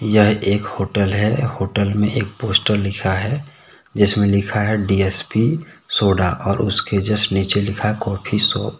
यह एक होटल है। होटल में एक पोस्टर लिखा हैजिसमें लिखा है डी_एस_पी सोडा और उसके जस्ट नीचे लिखा है काफिशॉप --